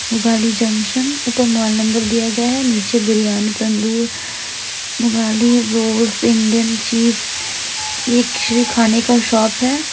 गली जंक्शन ऊपर mobile number दिया गया है नीचे बिरयानी तंदूर गली रोड इंडियन चीज एक खाने का शॉप है।